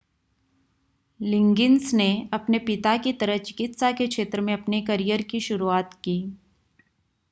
लिगिंन्स ने अपने पिता की तरह चिकित्सा के क्षेत्र में अपने कैरियर की शुरूआत की